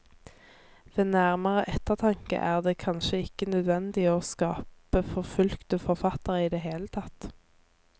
Ved nærmere ettertanke er det kanskje ikke nødvendig å skape forfulgte forfattere i det hele tatt.